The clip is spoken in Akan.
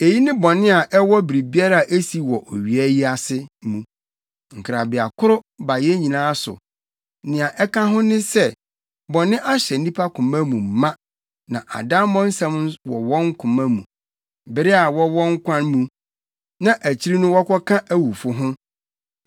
Eyi ne bɔne a ɛwɔ biribiara a esi wɔ owia yi ase mu. Nkrabeakoro ba yɛn nyinaa so. Nea ɛka ho ne sɛ, bɔne ahyɛ nnipa koma mu ma na adammɔ nsɛm wɔ wɔn koma mu, bere a wɔwɔ nkwa mu, na akyiri no wɔkɔka awufo ho.